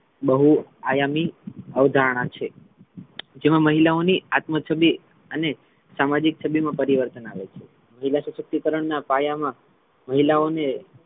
બહુ આયમી અવધારણા છે જેમાં મહિલાઓની આત્મછબી અને સામાજિક છબી મા પરિવર્તન આવે છે મહિલા સશક્તિકરણ ના પાયા મા મહિલાઓને,